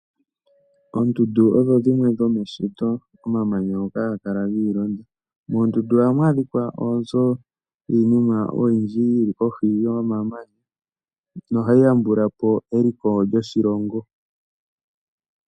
Oondundu odhi dhimwe dho meshito, omamanya ngoka haga kala giilonda. Moondundu ohamu adhika iinima oyindji yili kohi yomamanya, no hayi yambulapo eliko lyoshilongo.